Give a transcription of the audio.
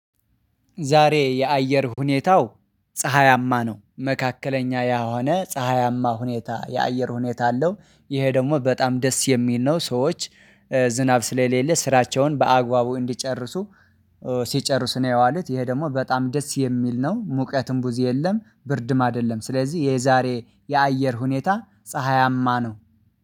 ዛሬ የአየር ሁኔታው ፀሀያማ ነው። መካከለኛ የሆነ ፀሀያማ ሁኔታ የአየር ሁኔታ አለው ይሄ ደግሞ በጣም ደስ የሚል ነው። ሰዎች ዝናብ ስለሌለ ስራቸውን በአግባቡ እንዲጨርሱ። ሲጨርስ ነው ያዋሉት ይሄ ደግሞ በጣም ደስ የሚል ነው። ሙቀትም ብዙ የለም ብርድም አይደለም። ስለዚህ የዛሬ የአየር ሁኔታ ፀሀያማ ነው